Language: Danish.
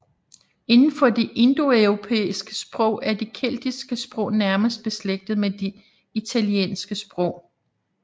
Inden for de indoeuropæiske sprog er de keltiske sprog nærmest beslægtet med de italiske sprog